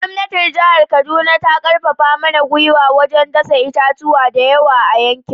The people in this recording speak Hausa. Gwamnatin jihar Kaduna ta karfafa mana gwiwa wajen dasa itatuwa da yawa a yankin